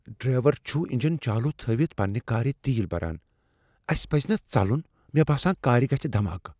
Driver چُھ engine چالو تھٲوِتھ پننہ كارِ تیل بران ۔ اسہِ پزِ نا ژلُن ؟مے٘ باسان كارِ گژھِ دھماكہٕ ۔